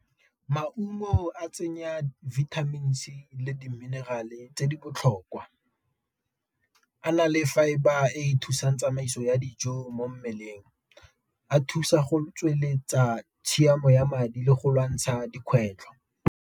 Maungo a tsenya vitamins-i le di-mineral-e tse di botlhokwa, a na le fibre e ithusang tsamaiso ya dijo mo mmeleng, a thusa go tsweletsa tshiamo ya madi le go lwantsha dikgwetlho.